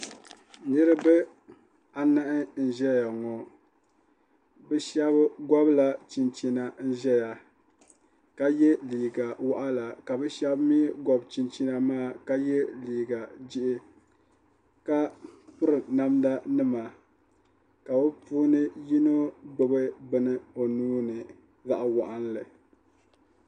niraba anahi nʒɛya ŋɔ bi shab gobila chinchina n ʒɛya ka yɛ liiga waɣala ka bi shab mii gobi chinchina ka yɛ liiga jihi ka piri namda nima ka bi puuni yino gbubi bini o nuuni zaɣ waɣanli